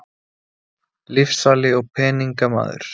Lyfsali og peningamaður.